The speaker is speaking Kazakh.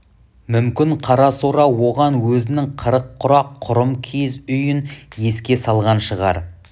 мүмкін қарасора оған өзінің қырық құрақ құрым киіз үйін еске салған шығар